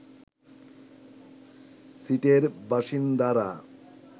সিটের বাসিন্দারা